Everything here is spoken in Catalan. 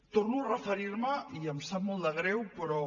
torno a referir me i em sap molt de greu però